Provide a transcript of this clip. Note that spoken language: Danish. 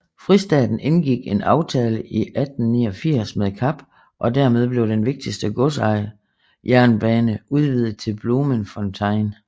Fristaten indgikk en aftale i 1889 med Kap og dermed blev den vigtigste godsjernbane udvidet til Bloemfontein